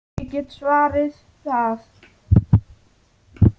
Ég get svarið það.